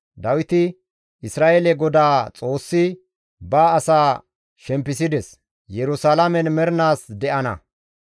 Dawiti, «Isra7eele Godaa Xoossi ba asaa shempisides; Yerusalaamen mernaas de7ana.